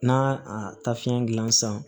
N'a a taafan gilan san